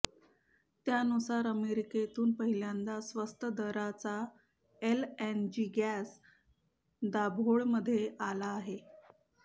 त्यानुसार अमेरिकेतून पहिल्यांदा स्वस्त दराचा एलएनजी गॅस दाभोळमध्ये आला आहे